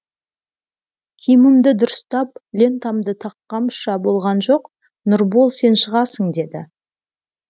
киімімді дұрыстап лентамды таққанымша болған жоқ нұрбол сен шығасың деді